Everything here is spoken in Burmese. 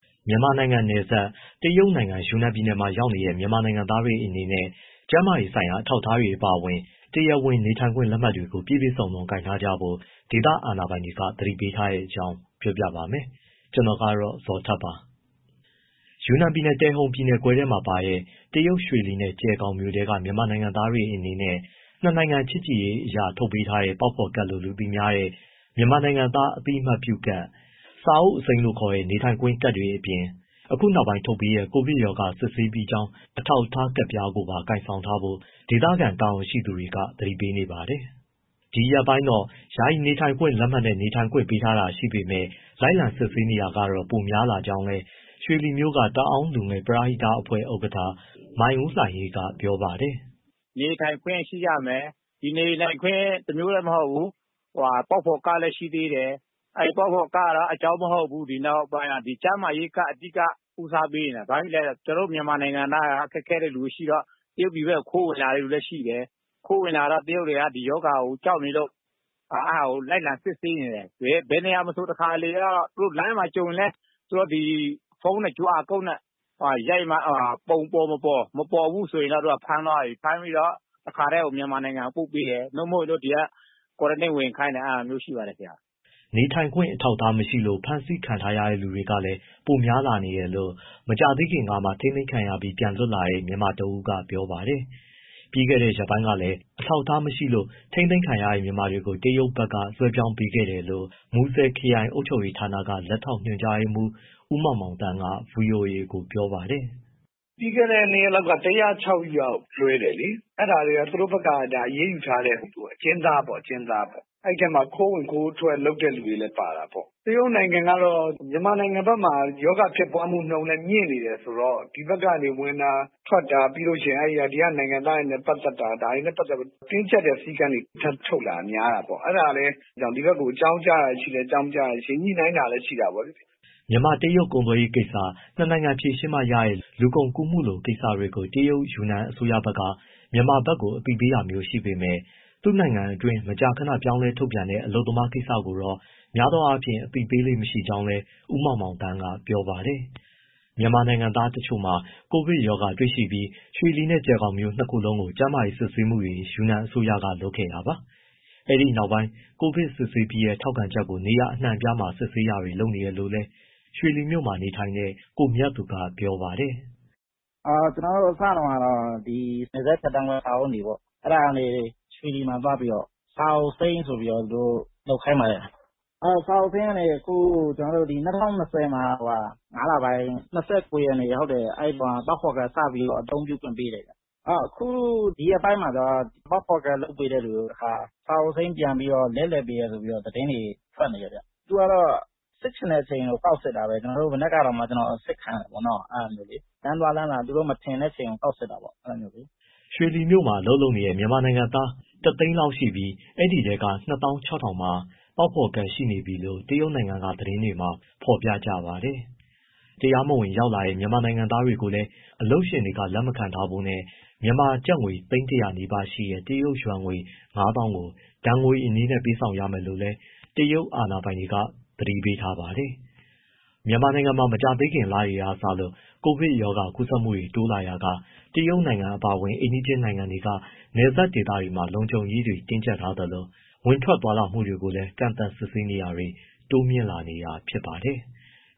မြန်မာနိုင်ငံနဲ့နယ်စပ် တရုတ်နိုင်ငံ ယူနန်ပြည်နယ်မှာ ရောက်နေကြတဲ့ မြန်မာနိုင်ငံသားတွေ အနေနဲ့ ကျန်းမာရေးဆိုင်ရာ အထောက်အထား အပါအဝင် တရားဝင်နေထိုင်ခွင့် လက်မှတ်တွေကို ပြည့်ပြည့်စုံစုံကိုင်ဆောင်ထားကြဖို့ ဒေသခံအာဏာပိုင်တွေ သတိပေးထားတဲ့အကြောင်း ကိုဇော်ထက် ပြောပြပါမယ်။ ယူနန်ပြည်နယ်၊ တယ်ဟုန်ပြည်နယ်ခွဲထဲမှာပါတဲ့ တရုတ်ရွှေလီနဲ့ ကျယ်ခေါင်မြို့ထဲက မြန်မာနိုင်ငံသားတွေအနေနဲ့ ၂ နိုင်ငံချစ်ကြည်ရေးအရ ထုတ်ပေးထားတဲ့ ပေါက်ဖော်ကဒ်လို့ လူသိများတဲ့ မြန်မာနိုင်ငံသား အသိအမှတ်ပြုကဒ်၊ စာအုပ်အစိမ်းလို့ခေါ်တဲ့ နေထိုင်ခွင့်ကဒ်တွေအပြင်၊ အခုနောက်ပိုင်း ထုတ်ပေးတဲ့ ကိုဗစ်ရောဂါ စစ်ဆေးပြီးကြောင်း အထောက်အထားကဒ်ပြားကိုပါ ကိုင်ဆောင်ထားဖို့ ဒေသခံတာဝန်ရှိသူတွေက သတိပေးနေပါတယ်။ ဒီရက်ပိုင်းတော့ ယာယီနေထိုင်ခွင့် လက်မှတ်နဲ့ နေထိုင်ခွင့်ပေးထားတာ ရှိပေမဲ့ လိုက်လံစစ်ဆေးတာတွေတော့ ပိုများလာကြောင်းလည်း ရွှေလီမြို့က တအောင်းလူငယ် ပရဟိတအဖွဲ့ ဥက္ကဋ္ဌ မိုင်ဦးလှိုင်အေးက ပြောပါတယ်။ “ နေထိုင်ခွင့်ရှိရမယ်၊ ဒီနေထိုင်ခွင့် တမျိုးတည်းမဟုတ်ဘူး၊ ပေါက်ဖော်ကဒ်လည်း ရှိသေးတယ်၊ အဲဒီပေါက်ဖော်ကဒ်ကလည်း အကြောင်း မဟုတ်ဘူး ဒီနောက်ပိုင်းက ကျန်းမာရေးကဒ်အဓိက ဦးစားပေးနေတာ။ ဘာဖြစ်လို့လဲဆိုတော့ ကျနော်တို့ နိုင်ငံသားတွေ ဒီလိုရှိတော့ တရုတ်ဘက် ခိုးဝင်လာတဲ့သူတွေရှိတယ်၊ ခိုးဝင်လာတော့ တရုတ်တွေက ဒီရောဂါကို ကြောက်နေလို့ လိုက်လံစစ်ဆေးနေတယ်၊ ဘယ်နေရာမဆို သူတို့လမ်းမှာကြုံရင်လည်း ဖုန်းနဲ့ QR ကုဒ်နဲ့ရိုက်ပြီးတော့ ပုံပေါ်မပေါ်၊ မပေါ်ဘူးဆိုရင် ဖမ်းသွားပြီ။ ဖမ်းပြီးတော့ တခါတည်း မြန်မာနိုင်ငံကို ပို့ပေးတယ်၊ ဒါမှမဟုတ်ဒီက quarantine ဝင်ခိုင်းတယ်။” နေထိုင်ခွင့် အထောက်အထားမရှိလို့ ဖမ်းဆီးထားတဲ့သူတွေလည်း ပိုများလာနေတယ်လို့ မကြာသေးခင်ကမှ ထိန်းသိမ်းခံရပြီး ပြန်လွတ်လာတဲ့ မြန်မာတဦးက ပြောပါတယ်။ ပြီးခဲ့တဲ့ရက်ပိုင်းကလည်း အထောက်အထားမရှိလို့ ထိန်းသိမ်းခံရတဲ့ မြန်မာတွေကို တရုတ်ဘက်က လွှဲပြောင်းပေးခဲ့တယ်လို့ မူဆယ်ခရိုင် အုပ်ချုပ်ရေးဌာနက လက်ထောက် ညွှန်ကြားရေးမှူး ဦးမောင်မောင်သန်းက ဗွီအိုအေကို ပြောပါတယ်။ “ ပြီးခဲ့တဲ့ နှစ်ရက်လောက်က ၁၀၆ ယောက် လွှဲတယ်လေ။ အဲဒါတွေက သူတို့ဘက်က အရေးယူထားတဲ့ အကျဉ်းသားပေါ့၊ အဲဒီအထဲမှာ ခိုးဝင်ခိုးထွက် လုပ်တဲ့သူတွေလည်း ပါတာပေါ့။ တရုတ်နိုင်ငံကတော့ မြန်မာနိုင်ငံဘက်မှာ ရောဂါဖြစ်ပွားနှုန်းလည်း မြင့်နေတယ်ဆိုတော့ ဒီဘက်ကနေ ဝင်တာထွက်တာ၊ ပြီးတော့ ဒီကနိုင်ငံသားတွေနဲ့ပတ်သက်တာ ဒါတွေနဲ့ပတ်သက်ပြီး တင်းကျပ်တဲ့စည်းကမ်းတွေ ထပ်ထုတ်လာတာ များတာပေါ့။ အဲဒါလည်း ဒီဘက်ကို အကြောင်းကြားတာရှိတယ်၊ အကြောင်း မကြားတာရှိတယ်။ ညှိနှိုင်းတာလည်း ရှိတာပေါ့လေ။” မြန်မာ- တရုတ် ကုန်သွယ်ရေးကိစ္စ၊ နှစ်နိုင်ငံဖြေရှင်းမှရတဲ့ လူကုန်ကူးမှုလို ကိစ္စတွေကို တရုတ်ယူနန် အစိုးရဘက်က မြန်မာဘက် အသိပေးတာမျိုး ရှိပေမဲ့ သူ့နိုင်ငံအတွင်း မကြာခဏ ပြောင်းလဲထုတ်ပြန်တဲ့ အလုပ်သမားကိစ္စ တွေကိုတော့ များသောအားဖြင့် အသိမပေးလေ့မရှိကြောင်း ဦးမောင်မောင်သန်းက ပြောပါတယ်။ မြန်မာနိုင်ငံသားတချို့မှာ ကိုဗစ်ရောဂါတွေ့ရှိပြီး ရွှေလီနဲ့ ကျယ်ခေါင်မြို့နှစ်ခုလုံးကို ကျန်းမာရေးစစ်ဆေးမှုတွေ ယူနန်အစိုးရက လုပ်ခဲ့တာပါ။ အဲဒီနောက်ပိုင်း ကိုဗစ်စစ်ဆေးပြီးတဲ့ ထောက်ခံချက်ကို နေရာအနှံ့အပြားမှာ စစ်ဆေးတာတွေ လုပ်နေတယ်လို့လည်း ရွှေလီမြို့မှာနေတဲ့ ကိုမြတ်သူက ပြောပါတယ်။ “ ကျနော်တို့ အစတုန်းကတော့ နယ်စပ်ဖြတ်သန်းခွင့် စာအုပ်အနီပေါ့၊ အဲဒါကနေ ရွှေလီမှာသွားပြီးတော့ စာအုပ်အစိမ်းဆိုပြီးတော့ လုပ်ခိုင်းပါတယ်၊ စာအုပ်အစိမ်းကနေအခု ၂၀၂၀ မှာ ၅လပိုင်း ၂၉ ရက်နေ့မှာ ပေါက်ဖော်ကဒ် စပြီးအသုံးပြုခွင့်ပေးတယ်၊ အခုဒီရက်ပိုင်းမှာတော့ ပေါက်ဖော်ကဒ် လုပ်ပေးတဲ့သူ တခါ စာအုပ်အစိမ်းပြန်ပြီးတော့ လဲလှယ်ပေးတယ်ဆိုပြီး သတင်းတွေထွက်နေတယ်။ သူတို့ကတော့ စစ်ချင်တဲ့အချိန် ကောက်ပြီးတော့ ကောက်စစ်တာပဲ ကျနော်တို့ကို။ မနက်ကတောာင်မှ ကျနော်အစစ်ခံရတယ်။ လမ်းသွားလမ်းလာ သူတို့မထင်တဲ့သူကို ကောက်စစ်တာပေါ့။” ရွှေလီမြို့မှာ အလုပ်လုပ်နေတဲ့ မြန်မာနိုင်ငံသားက တသိန်း လောက်ရှိပြီး အဲဒီအထဲက ၂၆၀၀၀ ကျော်မှာ ပေါက်ဖော်ကဒ် ရှိနေပြီလို့တရုတ်နိုင်ငံက သတင်းတွေမှာ ဖော်ပြကြပါတယ်။ တရုတ်ပြည်ထဲ တရားမဝင်ရောက်လာတဲ့ မြန်မာနိုင်ငံသားတွေကိုလည်း အလုပ်ရှင်တွေက လက်မခံထားဖို့နဲ့ မြန်မာငွေ သိန်း ၁၀၀ နီးပါးရှိတဲ့ တရုတ်ယွမ်ငွေ ၅၀၀၀၀ ကိုဒဏ်ငွေအနေနဲ့ ပေးဆောင်ရမယ်လို့လည်း တရုတ်အာဏာပိုင်တွေက သတိပေးထားပါတယ်။ မြန်မာနိုင်ငံမှာ မကြာသေးခင်လတွေကစလို့ ကိုဗစ်ကပ်ရောဂါ ကူးစက်မှုတွေ တိုးလာရာက တရုတ်နိုင်ငံ အပါအဝင် အိမ်နီးချင်းနိုင်ငံတွေက နယ်စပ်ဒေသတွေမှာ လုံခြုံရေးတွေ တင်းကြပ်ထားသလို၊ ဝင်ထွက်သွားလာမှုတွေ ကိုလည်း ကန့်သတ်စစ်ဆေးတာတွေ တိုးမြှင့်လာနေတာ ဖြစ်ပါတယ်။